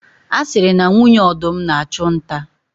A siri na nwunye ọdụm na-achụ nta.